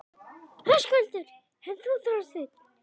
Höskuldur: En þú, Þorsteinn?